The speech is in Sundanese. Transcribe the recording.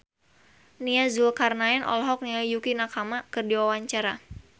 Nia Zulkarnaen olohok ningali Yukie Nakama keur diwawancara